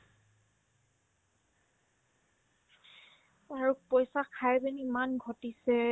আৰু পইচা খাই পিনে ইমান ঘটিছে